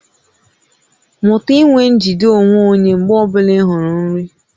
Mụta inwe njide onwe onye mgbe ọ bụla ị hụrụ nri